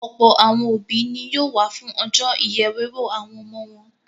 Ọ̀pọ̀ àwọn òbí ni yóò wà fún ọjọ́ ìyèwéwó àwọn ọmọ wọn.